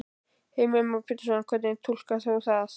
Heimir Már Pétursson: Hvernig túlkar þú það?